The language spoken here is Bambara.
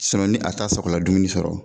ni a t'a sakola dumuni sɔrɔ.